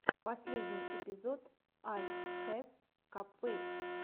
последний эпизод ай хэс капквэйк